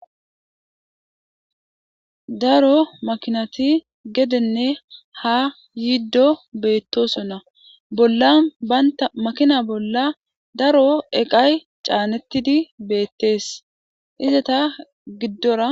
daro makinati gedenne ha yiiddo beettosonna bolla baynta makina bolla daro eqay caanettidi beettees iza ta giddora